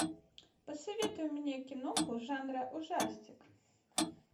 посоветуй мне киноху жанра ужастик